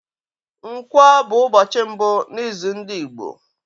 Nkwo bụ ụbọchị mbụ na izu ndị Igbo.